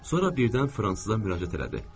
Sonra birdən fransıza müraciət elədi.